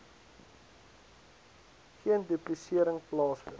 geen duplisering plaasvind